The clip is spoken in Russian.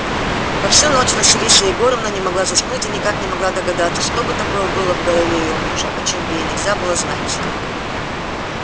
во всю ночь василиса егоровна не могла заснуть и никак не могла догадаться что бы такое было в голове её мужа о чём бы ей нельзя было знать